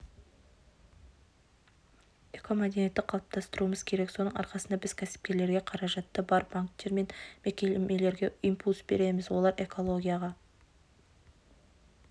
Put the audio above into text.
экомәдениетті қалыптастыруымыз керек соның арқасында біз кәсіпкерлерге қаражаты бар банктер мен мекемелерге импульс береміз олар экологияға